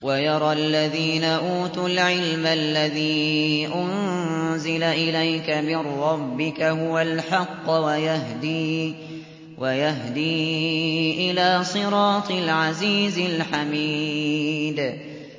وَيَرَى الَّذِينَ أُوتُوا الْعِلْمَ الَّذِي أُنزِلَ إِلَيْكَ مِن رَّبِّكَ هُوَ الْحَقَّ وَيَهْدِي إِلَىٰ صِرَاطِ الْعَزِيزِ الْحَمِيدِ